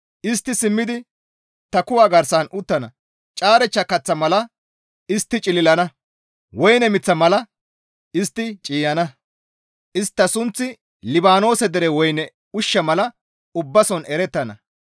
Istti simmidi ta kuwa garsan uttana; Caarechcha kaththa mala istti cililana; woyne miththa mala istti ciiyana. Istta sunththi Libaanoose dere woyne ushsha mala ubbason erettana.